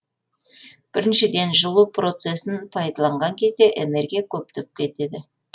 біріншіден жылу процесін пайдаланған кезде энергия көптеп кетеді